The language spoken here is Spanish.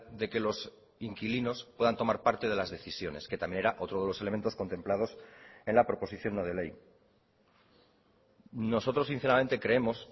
de que los inquilinos puedan tomar parte de las decisiones que también era otro de los elementos contemplados en la proposición no de ley nosotros sinceramente creemos